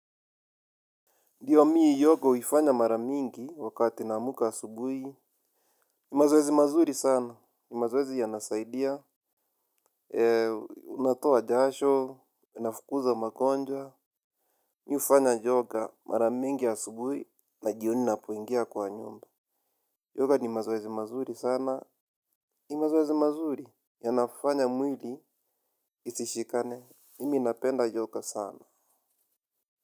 Ndio mi yoga huifanya mara mingi wakati naamka asubuhi. Mazoezi mazuri sana, ni mazoezi yanasaidia, unatoa jasho, inafukuza magonjwa. Mi hufanya yoga mara mingi asubuhi na jioni napoingia kwa nyumba. Yoga ni mazoezi mazuri sana, ni mazoezi mazuri, yanafanya mwili isishikane. Mimi napenda yoga sana.